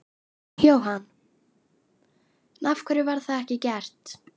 Jóhann: En af hverju var það ekki gert?